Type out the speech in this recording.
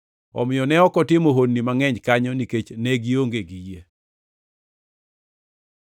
Omiyo ne ok otimo honni mangʼeny kanyo nikech ne gionge gi yie.